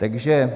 Takže